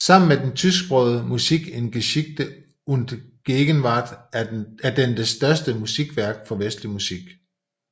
Sammen med den tysksprogede Musik in Geschichte und Gegenwart er den det største opslagsværk for vestlig musik